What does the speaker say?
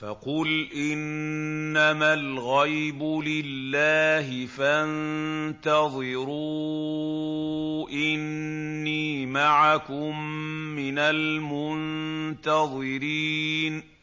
فَقُلْ إِنَّمَا الْغَيْبُ لِلَّهِ فَانتَظِرُوا إِنِّي مَعَكُم مِّنَ الْمُنتَظِرِينَ